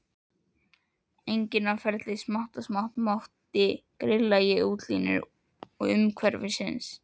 Enginn á ferli, smátt og smátt grilli ég útlínur umhverfisins.